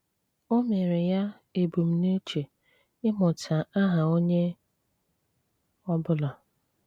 Ọ̀ mere ya ebumnuche ị́mụ́tà àhà onye ọ̀bụ̀là.